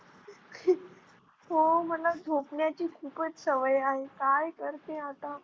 हो मला झोपण्याची खूपच सवय आहे काय करते आता?